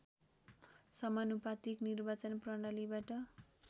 समानुपातिक निर्वाचन प्रणालीबाट